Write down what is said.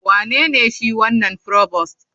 Wanene shi wanan provost?